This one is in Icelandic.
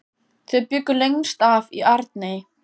Þau bjuggu lengst af í Arney.